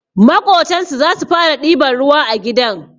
Maƙotansu zasu fara ɗiban ruwa a gidan